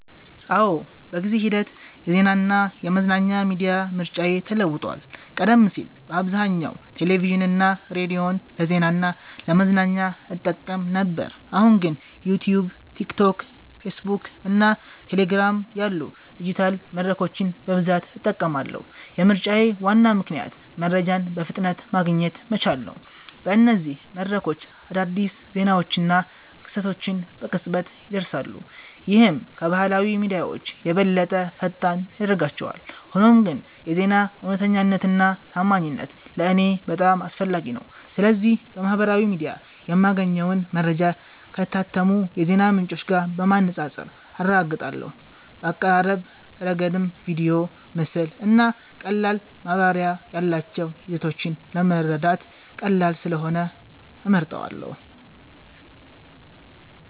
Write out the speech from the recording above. አዎ፣ በጊዜ ሂደት የዜናና የመዝናኛ ሚዲያ ምርጫዬ ተለውጧል። ቀደም ሲል በአብዛኛው ቴሌቪዥንና ሬዲዮን ለዜና እና ለመዝናኛ እጠቀም ነበር፣ አሁን ግን ዩትዩብ፣ ቲክቶክ፣ ፌስቡክ እና ቴሌግራም ያሉ ዲጂታል መድረኮችን በብዛት እጠቀማለሁ። የምርጫዬ ዋና ምክንያት መረጃን በፍጥነት ማግኘት መቻሌ ነው። በእነዚህ መድረኮች አዳዲስ ዜናዎችና ክስተቶች በቅጽበት ይደርሳሉ፣ ይህም ከባህላዊ ሚዲያዎች የበለጠ ፈጣን ያደርጋቸዋል። ሆኖም ግን የዜና እውነተኛነትና ታማኝነት ለእኔ በጣም አስፈላጊ ነው። ስለዚህ በማህበራዊ ሚዲያ የማገኘውን መረጃ ከታመኑ የዜና ምንጮች ጋር በማነጻጸር አረጋግጣለሁ። በአቀራረብ ረገድም ቪዲዮ፣ ምስል እና ቀላል ማብራሪያ ያላቸው ይዘቶች ለመረዳት ቀላል ስለሆኑ እመርጣቸዋለ